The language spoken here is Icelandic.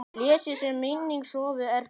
Blessuð sé minning Sofíu Erlu.